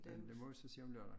Men det må vi så se om lørdagen